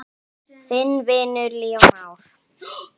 Þinn vinur, Leó Már.